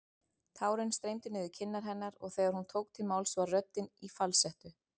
Tárin streymdu niður kinnar hennar og þegar hún tók til máls var röddin í falsettu.